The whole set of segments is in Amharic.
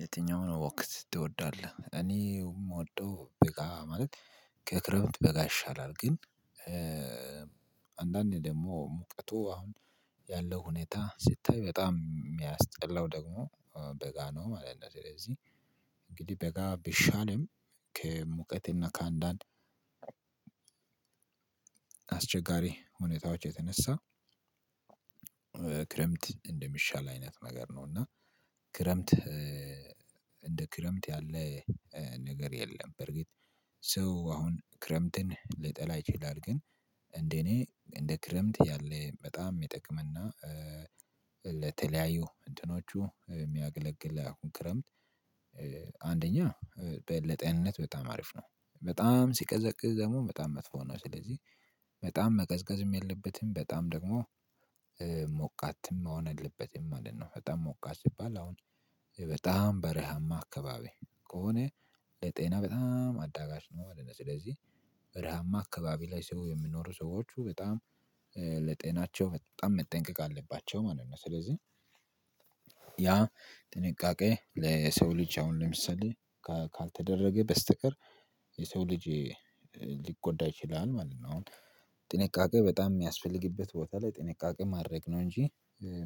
የትኛውን ወቅት ትወዳለህ? እኔ የምወደው በጋ ማለት ከክረምት በጋ ይሻላል። ግን አንዳንዴ ደግሞ ሙቀቱ አሁን ያለው ሁኔታ ሲታይ በጣም የሚያስጠላው ደግሞ በጋ ነው ማለት ነው። ስለዚህ እንግዲህ በጋ ቢሻልም ከሙቀትና ከአንዳንድ አስቸጋሪ ሁኔታዎች የተነሳ ክረምት እንደሚሻል አይነት ነገር ነው። እና ክረምት እንደ ክረምት ያለ ነገር የለም። በርግጥ ሰው አሁን ክረምትን ሊጠላ ይችላል። ግን እንደ እኔ እንደ ክረምት ያለ በጣም የሚጠቅም እና ለተለያዩ እንትኖቹ የሚያገለግል አሁን ክረምት አንደኛ ለጤንነት በጣም አሪፍ ነው። በጣም ሲቀዘቅዝ ደግሞ በጣም መጥፎ ነው። ስለዚህ በጣም መቀዝቀዝም የለበትም በጣም ደግሞ ሞቃትም መሆን የለበትም ማለት ነው። በጣም ሞቃት ሲባል አሁን በጣም በረሃማ አካባቢ ከሆነ ለጤና በጣም አዳጋሽ ነው ማለት ነው። ስለዚህ በረሃማ አካባቢ ላይ ሰው የሚኖሩ ሰዎች በጣም ለጤናቸው በጣም መጠንቀቅ አለባቸው ማለት ነው። ስለዚህ ያ ጥንቃቄ ለሰው ልጅ አሁን ለምሳሌ ካልተደረገ በስተቀር የሰው ልጄ ሊጎዳ ይችላል ማለት ነው። አሁን ጥንቃቄ በጣም የሚያስፈልግበት ቦታ ላይ ጥንቃቄ ማድረግ ነው እንጂ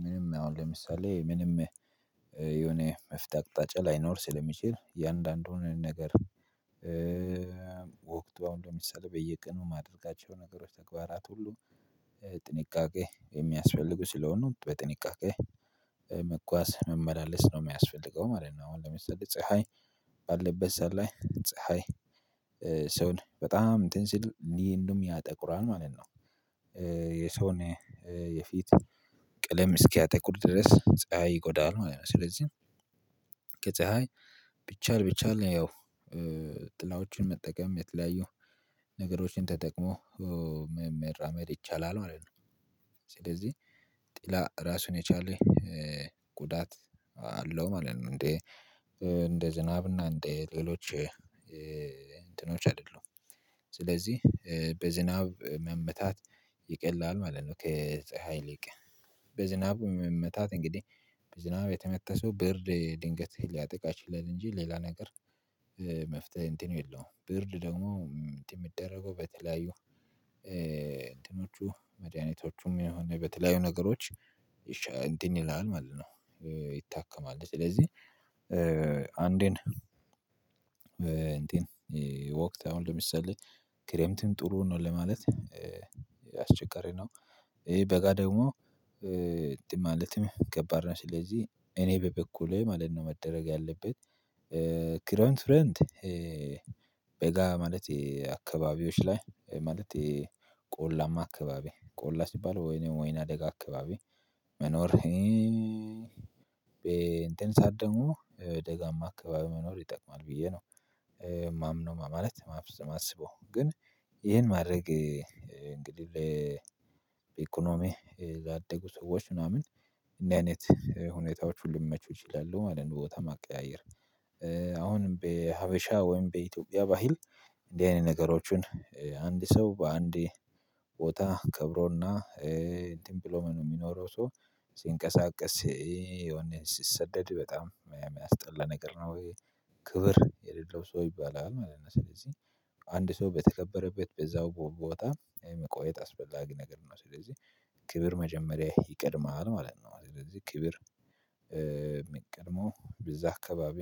ምንም አሁን ለምሳሌ ምንም የሆነ መፍትሄ አቅጣጫ ላይኖር ስለሚችል እያንዳንዱን ነገር ወቅቱ አሁን ለምሳሌ በየቀኑ ማድረጋቸው ነገሮች ተግባራት ሁሉ ጥንቃቄ የሚያስፈልጉ ስለሆኑ በጥንቃቄ መጓዝ መመላለስ ነው የሚያስፈልገው ማለት ነው። አሁን ለምሳሌ ፀሀይ ባለበት ሰዓት ላይ ፀሀይ ሰውን በጣም እንትን ሲል እንዲህ እንደውም ያጠቁራል ማለት ነው። የሰውን የፊት ቀለም እስኪያጠቁር ድረስ ፀሀይ ይጎዳል ማለት ነው። ስለዚህ ከፀሀይ ቢቻል ቢቻል ያው ጥላዎችን መጠቀም የተለያየው ነገሮችን ተጠቅሞ መራመድ ይቻላል ማለት ነው። ስለዚህ ጥላ ራሱን የቻለኝ ጉዳት አለው ማለት ነው። እንደ እንደ ዝናብ እና እንዴ ሌሎች እንትኖች አይደሉም። ስለዚህ በዝናብ መመታት ይቀላል ማለት ነው ከጸሀይ ይልቅ። በዝናብ መመታት እንግዲህ በዝናብ የተመታ ሰው ብርድ ድንገት ሊያጠቃ ይችላል እንጂ ሌላ ነገር መፍትሄ እንትን የለውም። ብርድ ደግሞ የሚደረገው በተለያዩ እንትኖቹ መድኃኒቶቹም የሆነ በተለያዩ ነገሮች እንትን ይላል ማለት ነው ይታከማለት። ስለዚህ አንዴን እንትን ወቅት አሁን ለምሳሌ ክረምትም ጥሩ ነው ለማለት አስቸጋሪ ነው። ይሄ በጋ ደግሞ ማለትም ከባድ ነው። ስለዚህ እኔ በበኩሌ ማለት ነው መደረግ ያለበት ክረምት ክረምት በጋ ማለት የአካባቢዎች ላይ ማለት ቆላማ አካባቢ ቆላ ሲባል ወይኔ ወይና ደጋ አካባቢ መኖር እኔ እንትን ሰዓት ደግሞ ደጋማ አካባቢ መኖር ይጠቅማል ብዬ ነው የማምነው ማለት ማስበው። ግን ይሄን ማድረግ እንግዲህ በኢኮኖሚ ያደጉ ሰዎች ምናምን እንደዚህ አይነት ሁኔታዎች ሁሉ ሊመቹ ይችላሉ ማለት ነው ቦታ ማቀያየር። አሁንም በሀበሻ ወይም በኢትዮጵያ ባህል እንደዚህ አይነት ነገሮችን አንድ ሰው በአንዴ ቦታ ከብሮና እንትን ብሎ የሚኖረው ሰው ሲንቀሳቀስ የሆነ ሲሰደድ በጣም የሚያስጠላ ነገር ነው። ክብር የሌለው ሰው ይባላል ማለት ነው። ስለዚህ አንድ ሰው በተከበረበት በዛው ቦታ የመቆየት አስፈላጊ ነገር ነው። ስለዚህ ክብር መጀመሪያ ይቀድማል ማለት ነው። ስለዚህ ክብር የሚቀድመው በዛ አካባቢ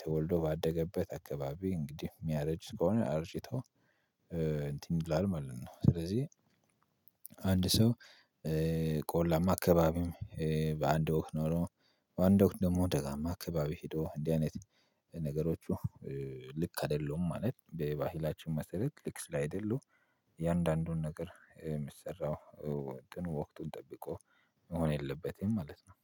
ተወልዶ ባደገበት አካባቢ እንግዲህ የሚያረጅ ከሆነ አርጅቶ እንትን ይላል ማለት ነው። ስለዚህ አንድ ሰው ቆላማ አካባቢም በአንድ ወቅት ኖሮ በአንድ ወቅት ደግሞ ደጋማ አካባቢ ሄዶ እንዲህ አይነት ነገሮቹ ልክ አይደለሁም። ማለት በባህላችን መሰረት ልክ ስላይደሉ እያንዳንዱን ነገር የሚሰራው ወቅት ጠብቆ መሆን የለበትም ማለት ነው።